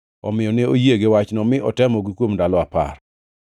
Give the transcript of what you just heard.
Omiyo ne oyie gi wachno mi otemogi kuom ndalo apar.